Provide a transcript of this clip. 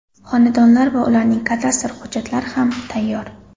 Xonadonlar va ularning kadastr hujjatlari ham tayyor.